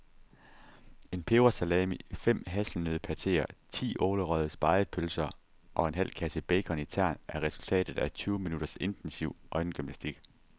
En pebersalami, fem hasselnøddepateer, ti ålerøgede spegepølser og en halv kasse bacon i tern er resultatet af tyve minutters intensiv øjengymnastik.